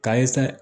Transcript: K'a ye se